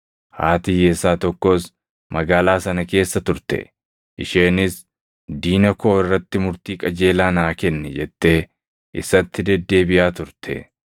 Haati hiyyeessaa tokkos magaalaa sana keessa turte; isheenis, ‘Diina koo irratti murtii qajeelaa naa kenni’ jettee isatti deddeebiʼaa turte.